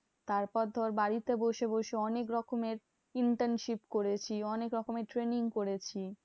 তারপর তোর বাড়িতে বসে বসে অনেক রকমের internship করেছি। অনেক রকমের training করেছি।